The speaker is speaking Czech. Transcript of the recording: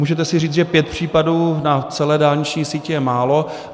Můžete si říct, že pět případů na celé dálniční síti je málo.